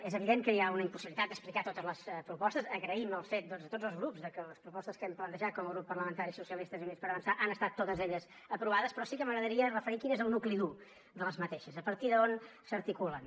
és evident que hi ha una impossibilitat d’explicar totes les propostes agraïm el fet doncs a tots els grups de que les propostes que hem plantejat com a grup parlamentari socialistes i units per avançar han estat totes elles aprovades però sí que m’agradaria referir quin és el nucli dur d’aquestes a partir d’on s’articulen